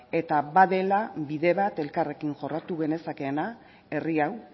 eta badela bide bat elkarrekin jorratu genezakeena herri hau